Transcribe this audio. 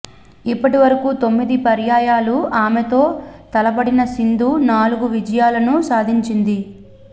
ఇప్పటి వరకూ తొమ్మిది పర్యాయాలు ఆమెతో తలపడిన సింధు నాలుగు విజయాలను సాధించింది